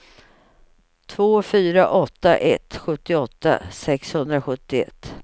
två fyra åtta ett sjuttioåtta sexhundrasjuttioett